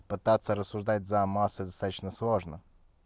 пытаться рассуждать за массы достаточно сложно